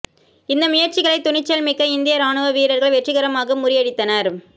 இந்த முயற்சிகளை துணிச்சல்மிக்க இந்திய ராணுவ வீரர்கள் வெற்றிகரமாக முறியடித்தனர்